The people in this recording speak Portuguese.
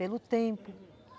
Pelo tempo.